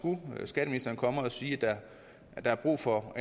skatteministeren kommer og siger at der er brug for